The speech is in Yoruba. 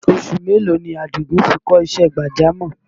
Oṣù mélòó ni Àdìgún fi kọ́ṣẹ́ gbàjámọ̀?